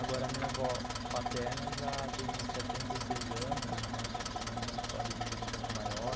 Agora a minha avó paterna já tem setenta e seis anos, então já tem uma história de vida um pouco maior.